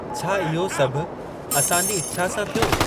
छा इहो सभु असां जी इच्छा सां थियो?